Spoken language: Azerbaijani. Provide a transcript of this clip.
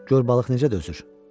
Gör balıq necə dözür?